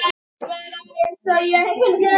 Guðni vinur minn er látinn.